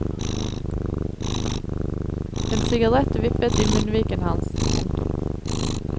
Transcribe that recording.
En sigarett vippet i munnviken hans. punktum